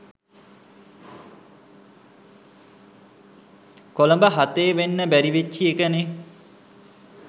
කොළඹ හතේ වෙන්න බැරි වෙච්චි එකනේ